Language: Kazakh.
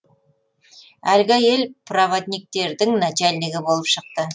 әлгі әйел праводниктердің начальнигі болып шықты